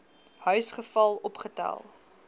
huis geval opgetel